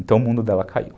Então o mundo dela caiu.